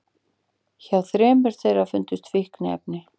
Hjá þremur þeirra fundust fíkniefni